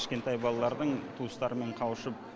кішкентай балалардың туыстарымен қауышып